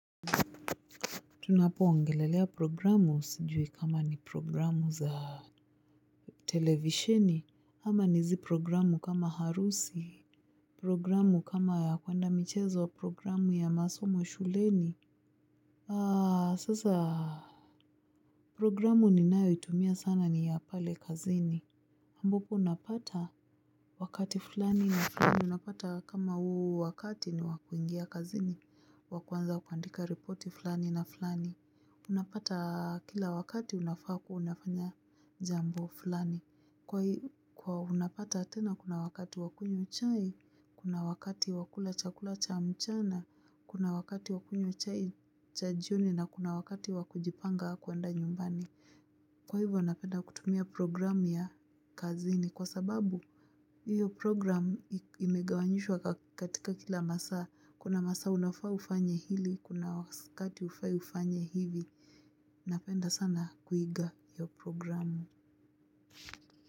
Tunapo ongelelea programu, sijui kama ni programu za televisheni, ama ni hizi programu kama harusi. Programu kama ya kuenda michezo programu ya masomo shuleni. Aa, sasa. Programu ni nayo itumia sana ni ya pale kazini ambapo unapata wakati fulani na fulani, unapata kama huu wakati ni wakuingia kazini, wakuanza kuandika ripoti fulani na fulani. Unapata kila wakati unafaa kuwa unafanya jambo fulani. Kwa unapata tena kuna wakati wakunywa chai. Kuna wakati wakula chakula cha mchana. Kuna wakati wakunywa chai cha jioni. Na kuna wakati wakujipanga kuenda nyumbani. Kwa hivyo napenda kutumia programu ya kazini. Kwa sababu hiyo program imegawanyishwa katika kila masaa. Kuna masaa unafaa ufanye hili. Kuna wakati hufai ufanye hivi. Napenda sana kuiga hiyo programu.